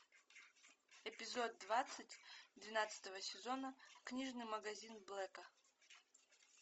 эпизод двадцать двенадцатого сезона книжный магазин блэка